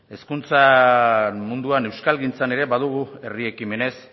hezkuntza munduan euskalgintzan ere badugu herri ekimenez